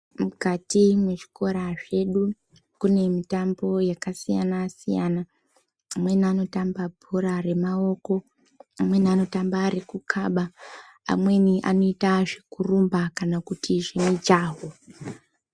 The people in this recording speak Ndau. Mukati mwezvikora zvedu kunemitambo yakasiyana siyana amweni anotamba bhora remaoko amweni anotamba rekukaba amweni anoita zvekurumba kana kuti zvemujaho.